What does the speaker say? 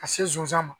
Ka se zonzan ma